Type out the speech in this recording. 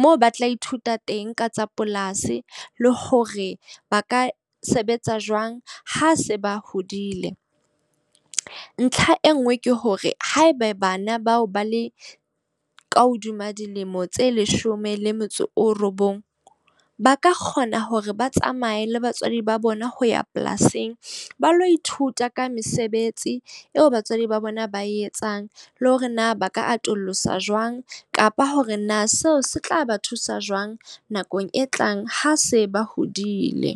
Moo ba tla ithuta teng ka tsa polasi, le hore ba ka sebetsa jwang ha se ba hodile. Ntlha e nngwe ke hore haebe bana bao ba le ka hodima dilemo tse leshome le metso o robong, ba ka kgona hore ba tsamaye le batswadi ba bona ho ya polasing ba lo ithuta ka mesebetsi eo batswadi ba bona ba e etsang. Le hore na ba ka atolosa jwang kapa hore na seo se tla ba thusa jwang nakong e tlang. Ha se ba hodile.